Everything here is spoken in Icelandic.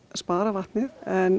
spara vatnið